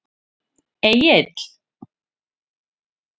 Egill